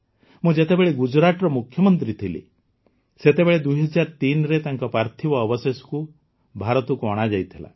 ମୁଁ ଯେତେବେଳେ ଗୁଜରାଟର ମୁଖ୍ୟମନ୍ତ୍ରୀ ଥିଲି ସେତେବେଳେ ୨୦୦୩ରେ ତାଙ୍କ ପାର୍ଥିବ ଅବଶେଷ ଭାରତକୁ ଅଣାଯାଇଥିଲା